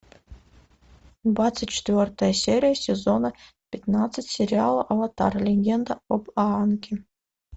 двадцать четвертая серия сезона пятнадцать сериала аватар легенда об аанге